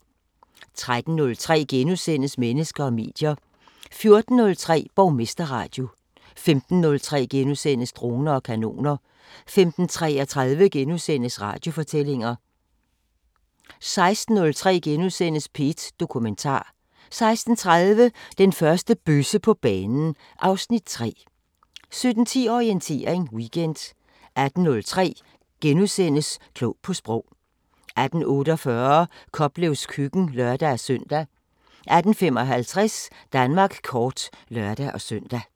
13:03: Mennesker og medier * 14:03: Borgmesterradio 15:03: Droner og kanoner * 15:33: Radiofortællinger * 16:03: P1 Dokumentar * 16:30: Den første bøsse på banen (Afs. 3) 17:10: Orientering Weekend 18:03: Klog på Sprog * 18:48: Koplevs køkken (lør-søn) 18:55: Danmark kort (lør-søn)